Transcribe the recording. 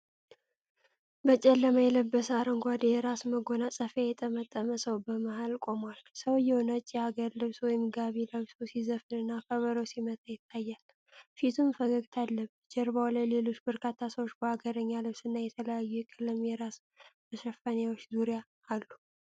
በጨለማ የለበሰ፣ አረንጓዴ የራስ መጎናጸፊያ የጠመጠመ ሰው በመሃል ቆሟል። ሰውዬው ነጭ የአገር ልብስ (ጋቢ) ለብሶ ሲዘፍንና ከበሮ ሲመታ ይታያል፤ ፊቱም ፈገግታ አለበት። ጀርባው ላይ ሌሎች በርካታ ሰዎች በአገርኛ ልብስና በተለያዩ የቀለም የራስ መሸፈኛዎች ዙሪያውን አሉ።